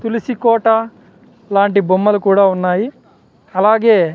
తులసి కోట లాంటి బొమ్మలు కూడా ఉన్నాయి అలాగే--